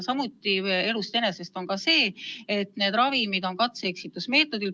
Elust enesest on ka teada, et neid ravimeid proovitakse katse-eksituse meetodil.